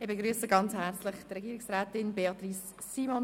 Ich begrüsse herzlich Regierungsrätin Simon.